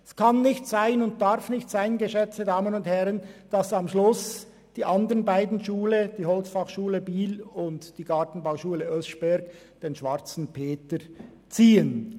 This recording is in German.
Es kann und darf nicht sein, geschätzte Damen und Herren, dass am Schluss die HF Holz in Biel und die Gartenbauschule Oeschberg den Schwarzen Peter ziehen.